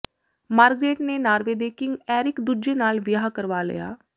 Margaret ਨੇ Norway ਦੇ king Eric ਦੂਜੇ ਨਾਲ ਵਿਆਹ ਕਰਵਾ ਲਿਆ